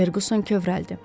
Ferquson kövrəldi.